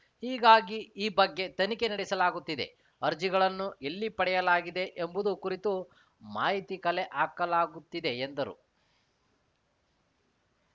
ಹೀಗಾಗಿ ಈ ಬಗ್ಗೆ ತನಿಖೆ ನಡೆಸಲಾಗುತ್ತಿದೆ ಅರ್ಜಿಗಳನ್ನು ಎಲ್ಲಿ ಪಡೆಯಲಾಗಿದೆ ಎಂಬುದು ಕುರಿತು ಮಾಹಿತಿ ಕಲೆ ಹಾಕಲಾಗುತ್ತಿದೆ ಎಂದರು